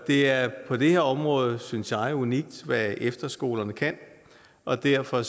det er på det her område synes jeg unikt hvad efterskolerne kan og derfor